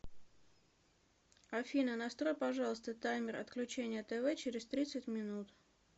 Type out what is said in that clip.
афина настрой пожалуйста таймер отключения тв через тридцать минут